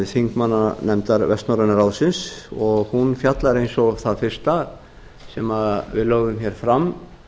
þingmannanefndar vestnorræna ráðsins og hún fjallar eins og það fyrsta sem við lögðum fram